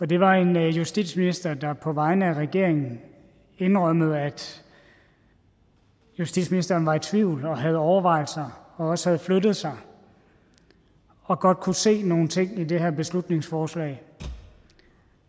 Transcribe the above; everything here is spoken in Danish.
det var en justitsminister der på vegne af regeringen indrømmede at justitsministeren var i tvivl og havde overvejelser og også havde flyttet sig og godt kunne se nogle ting i det her beslutningsforslag